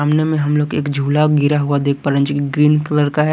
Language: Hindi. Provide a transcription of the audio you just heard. सामने में हम लोग एक झूला गिरा हुआ देख पा रहे है जो कि ग्रीन कलर का है।